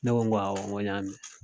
Ne ko ko awɔ n ko n y'a mɛn